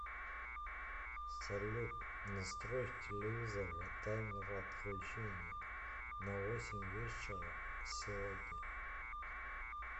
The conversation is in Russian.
салют настрой в телевизоре таймер отключения на восемь вечера сегодня